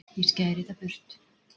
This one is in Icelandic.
ég skæri það burt